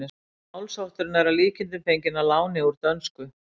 Málshátturinn er að líkindum fenginn að láni úr dönsku.